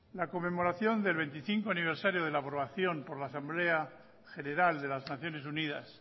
la conmemoración del veinticinco aniversario de la formación por la asamblea general de las naciones unidas